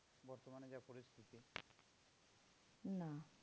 না